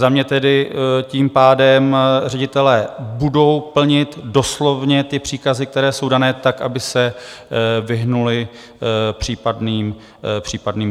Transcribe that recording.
Za mě tedy tím pádem ředitelé budou plnit doslovně ty příkazy, které jsou dané, tak, aby se vyhnuli případným problémům.